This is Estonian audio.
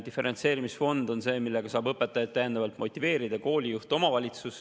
Diferentseerimisfond on see, millega koolijuht ja omavalitsus saavad õpetajaid täiendavalt motiveerida.